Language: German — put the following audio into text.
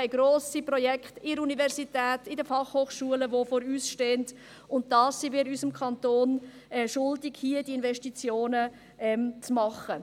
Wir haben grosse Projekte an der Universität, an den Fachhochschulen, welche vor uns stehen, und wir sind es unserem Kanton schuldig, diese Investitionen zu machen.